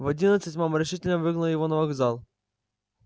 в одиннадцать мама решительно выгнала его на вокзал